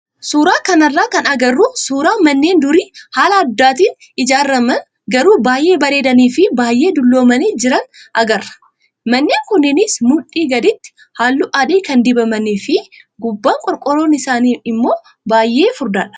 Suuraa kanarraa kan agarru suuraa manneen durii haala aadaatiin ijaaraman garuu baay'ee bareedanii fi baay'ee dulloomanii jiran agarra. Manneen kunnenis mudhii gaditti halluu adii kan dibamanii fi gubbaan qorqoorroon isaanii immoo baay'ee furdaadha.